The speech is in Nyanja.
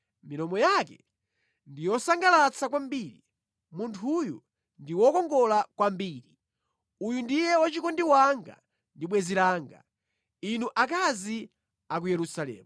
Milomo yake ndi yosangalatsa kwambiri; munthuyo ndi wokongola kwambiri! Uyu ndiye wachikondi wanga ndi bwenzi langa, inu akazi a ku Yerusalemu.